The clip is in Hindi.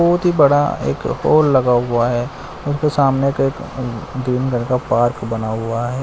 बहुत ही बड़ा एक लगा हुआ है उसके सामने के एक ग्रीन कलर का पार्क बना हुआ है।